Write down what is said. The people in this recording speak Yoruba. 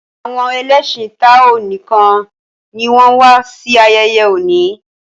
awon ẹlẹṣin tao nìkàn ní wón wá sí ayeye òní.